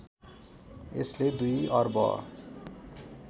यसले २ अर्ब